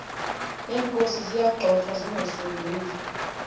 neenkozi ziyagxothwa zingasondeli